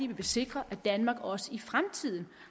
vil sikre at danmark også i fremtiden